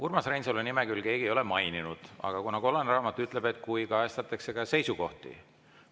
Urmas Reinsalu nime küll keegi ei ole maininud, aga kollane raamat ütleb, et saab ka siis, kui kajastatakse kellegi seisukohti.